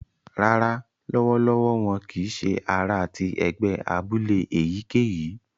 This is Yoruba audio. Rárá, lọwọlọwọ wọn kìí ṣe àrà ti ẹgbẹ abúlé èyíkéyìí